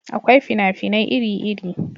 Akwai fina-finai iri iri